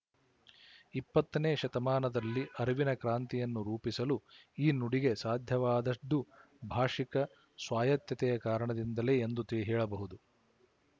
ಇಪ್ಪತ್ತನೇ ಶತಮಾನದಲ್ಲಿ ಅರಿವಿನ ಕ್ರಾಂತಿಯನ್ನು ರೂಪಿಸಲು ಈ ನುಡಿಗೆ ಸಾಧ್ಯವಾದದ್ದು ಭಾಶಿಕ ಸ್ವಾಯತ್ತತೆಯ ಕಾರಣದಿಂದಲೇ ಎಂದು ಹೇಳಬಹುದು